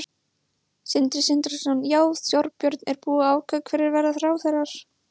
Sindri Sindrason: Já, Þorbjörn, er búið að ákveða hverjir verða ráðherrar?